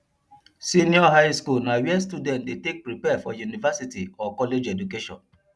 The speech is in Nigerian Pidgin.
senior highschool na where students de take prepare for university or college of education